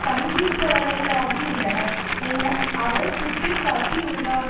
தங்கியிருப்பவரகளாகியுள்ளனர் என அவர் சுட்டு காட்டியுள்ளார்